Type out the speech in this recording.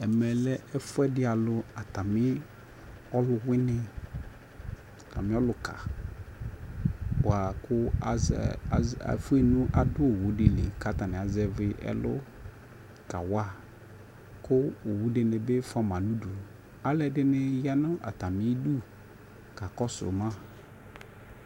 Ɛmɛ lɛ ɛfuɛdi alʋ atami ɔlʋwini, atamiɔ lʋ ka boa kʋ azɛ zɛ efue nʋ adu owu di li katani azɛvi ɛlʋ kawa kʋ owu dini bi fua ma nʋdu Alʋɛdini ya nʋ atami idu kakɔsʋ ma